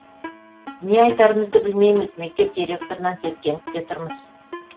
не айтарымызды білмейміз мектеп директорынан сескеніп те тұрмыз